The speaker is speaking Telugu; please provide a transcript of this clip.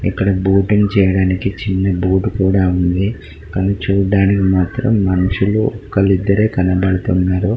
ఇక్కడ బోటింగ్ చేయడానికి చిన్న బోట్ కూడా ఉంది కానీ చూడటానికి మాత్రం మనుషులు ఒకళ్ళు ఇద్దరే కనపడుతున్నారు.